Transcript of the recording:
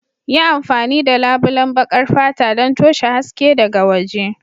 Yi amfani da labulen baƙar fata don toshe haske daga waje.